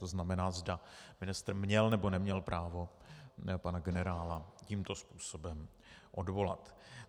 To znamená, zda ministr měl, nebo neměl právo pana generála tímto způsobem odvolat.